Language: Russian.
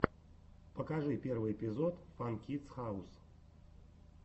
покажи первый эпизод фан кидс хаус